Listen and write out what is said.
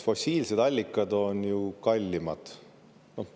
Fossiilsed allikad on ju kallimad.